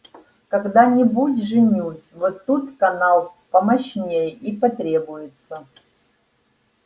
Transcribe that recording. когда-нибудь женюсь вот тут канал помощнее и потребуется